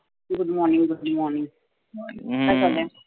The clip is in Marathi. Good Morning Good Morning काय चाललय?